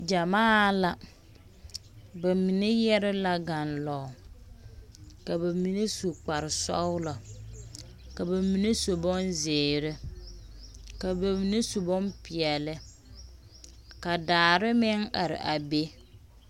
Gyamaa la. Ba mine yɛre la ganlɔge, ka ba mine su kpare sɔgelɔ, ka ba mine su bonzeere, ka ba mine su bompeɛle. Ka daare meŋ are a be.